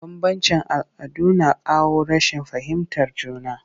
Bambanci all'adu na kawo rashin fahimtar juna